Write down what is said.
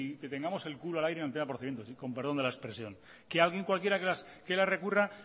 que tengamos el culo al aire en pleno procedimiento con perdón de la expresión que alguien cualquiera que las recurra